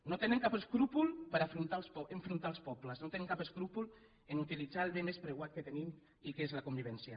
no tenen cap escrúpol per enfrontar els pobles no tenen cap escrúpol a utilitzar el bé més preuat que tenim i que és la convivència